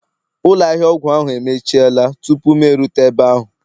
Ụlọ ahịa ọgwụ ahu emechiela tupu m erute ebe ahụ